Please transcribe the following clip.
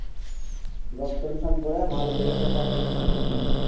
Job solution পড়ে ভালো দেখে একটা চাকরি উম